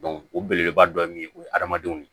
o belebeleba dɔ ye o ye adamadenw ni